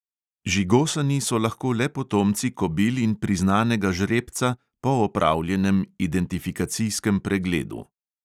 Žigosani so lahko le potomci kobil in priznanega žrebca po opravljenem identifikacijskem pregledu.